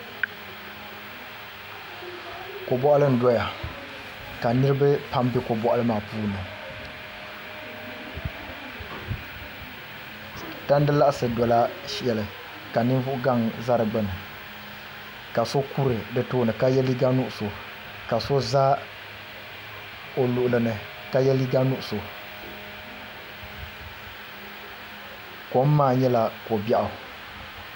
Ko boɣali n doya ka niraba pam bɛ ko boɣali maa puuni tandi laɣasi dola shɛli ka ninvuɣu gaŋ ʒɛ di gbuni ka so kuri di tooni ka yɛ liiga nuɣso ka so kuri o luɣuli ni ka yɛ liiga nuɣso kom maa nyɛla ko biɛɣu